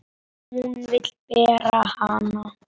Hún vill bera hana.